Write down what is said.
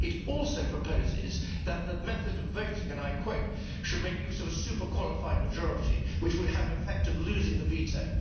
It also proposes that the method of voting, and I quote, should make use of a super qualified majority', which would have the effect of losing the veto.